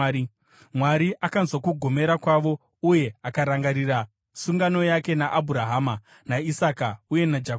Mwari akanzwa kugomera kwavo uye akarangarira sungano yake naAbhurahama, naIsaka uye naJakobho.